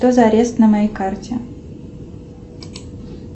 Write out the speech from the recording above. что за арест на моей карте